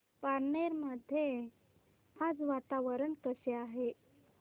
पारनेर मध्ये आज वातावरण कसे आहे